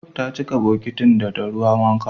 Ta cika bokitin da ruwan wanka